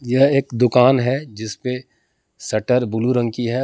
यह एक दुकान है जिस पे शटर ब्लू रंग की है।